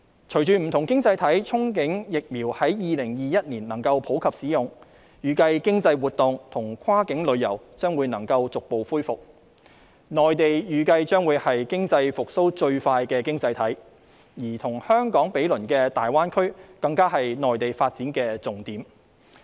隨着不同經濟體憧憬疫苗在2021年能夠普及使用，預計經濟活動及跨境旅遊將會逐步恢復，內地預計將會是經濟復蘇最快的經濟體，而與香港毗鄰的大灣區更是內地發展的重點。